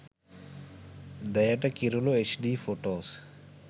deyata kirula hd photos